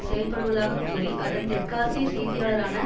செயற்படுவதாக கூறி அதன் தெற்காசிய செய்தியாளரான